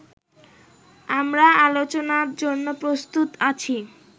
আমরা আলোচনার জন্য প্রস্তুত আছি